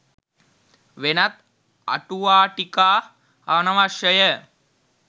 වෙනත් අටුවාටීකා අනවශ්‍ය ය